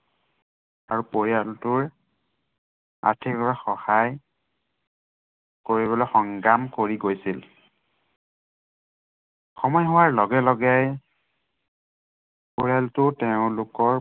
পৰিয়ালটোৰ আৰ্থিকভাৱে সহায় কৰিবলৈ সংগ্ৰাম কৰি গৈছিল। সময় হোৱাৰ লগে লগে পৰিয়ালটোৰ তেওঁলোকৰ